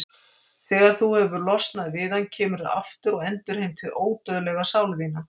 Þegar þú hefur losnað við hann kemurðu aftur og endurheimtir ódauðlega sál þína.